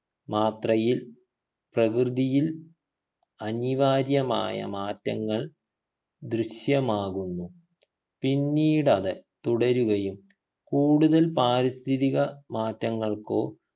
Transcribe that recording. മാത്രയിൽ പ്രകൃതിയിൽ അനിവാര്യമായ മാറ്റങ്ങൾ ദൃശ്യമാകുന്നു പിന്നീടത് തുടരുകയും കൂടുതൽ പാരിസ്ഥിതിക മാറ്റങ്ങൾക്കോ